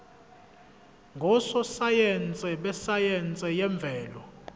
ngososayense besayense yemvelo